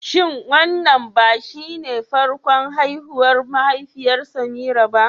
Shin wannan ba shine farkon haihuwar mahaifiyar Semira ba?